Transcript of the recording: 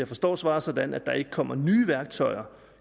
forstår svaret sådan at der ikke kommer nye værktøjer